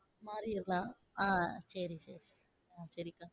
மாறிரலாம் ஆஹ் சரி சரி உம் சரிக்கா